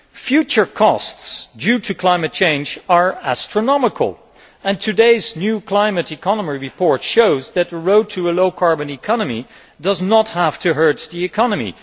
Future costs due to climate change are astronomical and today's new climate economy report shows that the road to a low carbon economy does not have to hurt the economy.